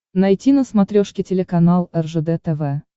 найти на смотрешке телеканал ржд тв